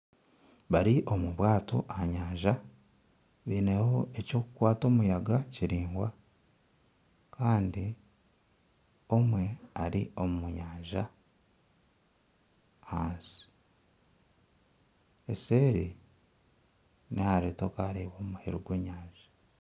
Bari omu bwaato aha nyanja baineho eky'okukwata omuyaga kiraingwa kandi omwe ari omu nyanja ahansi, eseeri nihare tokareeba muheru gw'enyanja.